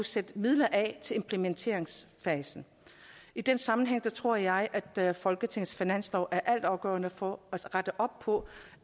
sætte midler af til implementeringsfasen i den sammenhæng tror jeg at folketingets finanslov er altafgørende for at rette op på